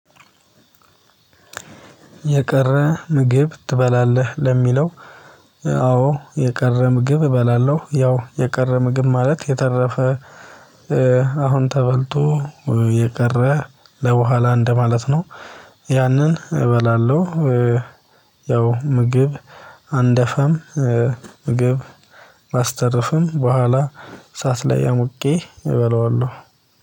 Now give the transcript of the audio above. የቀረ ምግብ ትበላለህ ለሚለው? አዎ የቀረ ምግብ እበላለሁ ያው የቀረ ምግብ ማለት የተረፈ አሁን ተበልቶ የቀረ ለበኋላ እንደማለት ነው። ያንን እበላለሁ። ያው ምግብ አንደፋም ምግብ ማስተረፍም በኋላ እሳት ላይ አሙቄ እበላዋለሁ።